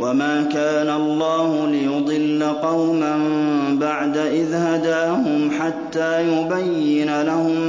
وَمَا كَانَ اللَّهُ لِيُضِلَّ قَوْمًا بَعْدَ إِذْ هَدَاهُمْ حَتَّىٰ يُبَيِّنَ لَهُم